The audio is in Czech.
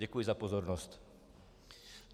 Děkuji za pozornost.